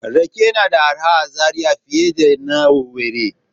Rake yana da arha a Zariya fiye da na owerri